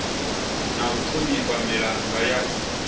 na u ṱhonifha milanga ya